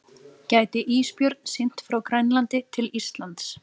Gæti ísbjörn synt frá Grænlandi til Íslands?